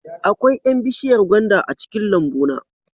Akwai 'yan bishiyar gwanda a cikin lambuna